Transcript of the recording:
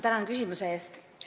Tänan küsimuse eest!